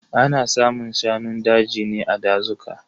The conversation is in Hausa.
Ana samun shanun daji ne a dazuka.